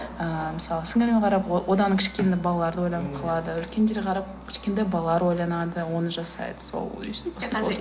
ыыы мысалы сіңліліме қарап одан кішкентай балалар ойланып қалады үлкендерге қарап кішкентай балалар ойланады оны жасайды сол өстіп